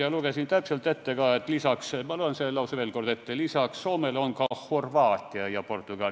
Ma loen selle lause veel kord ette: on öeldud, et lisaks Soomele on valmis ka Horvaatia ja Portugal.